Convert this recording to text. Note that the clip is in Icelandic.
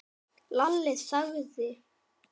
Lalli þagði.